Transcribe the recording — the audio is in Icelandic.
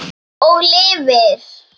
Og lifir.